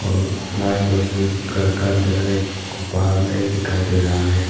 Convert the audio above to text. और light bulb घर का अंदर एक बाहर में एक दिखाई दे रहा है।